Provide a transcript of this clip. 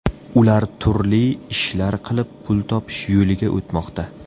Ular turli ishlar qilib pul topish yo‘liga o‘tmoqda.